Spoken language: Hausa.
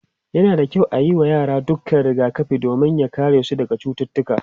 yana da kyau ayi wa yara dukkan rigakafi domin ya karesu daga cututtuka